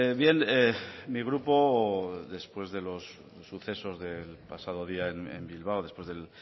bien mi grupo después de los sucesos del pasado día en bilbao después del